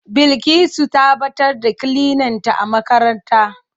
Bilkisu ta ɓatar da kilinanta a makaranta.